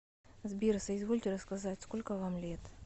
сбер соизвольте рассказать сколько вам лет